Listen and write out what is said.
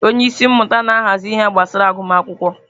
Onye isi mmụta na-ahazi ihe gbasara agụmakwụkwọ.